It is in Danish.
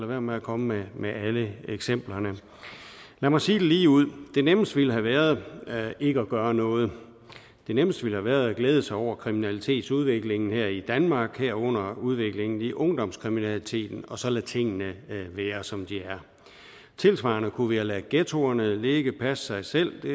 være med at komme med alle eksemplerne lad mig sige det lige ud det nemmeste ville have været ikke at gøre noget det nemmeste ville have været at glæde sig over kriminalitetsudviklingen her i danmark herunder udviklingen i ungdomskriminaliteten og så lade tingene være som de er tilsvarende kunne vi have ladet ghettoerne ligge og passe sig selv det